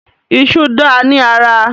Ìṣù dáa ní ara